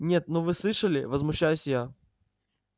нет ну вы слышали возмущаюсь я